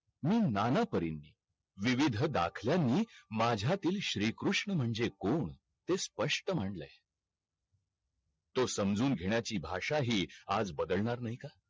मी नाना परींनी विविध दाखल्या नि माझ्यातील श्रीकृष्ण म्हणजे कोण ते स्‍पष्‍ट म्हणलय तो समजून घेण्याची भाषा ही आज बदलणार नाही का?